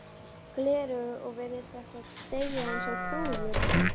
gleraugu og virðist ætla að deyja eins og trúður.